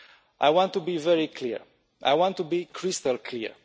I want to be very clear. I want to be crystal clear.